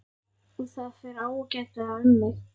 Og það fer ágætlega um mig.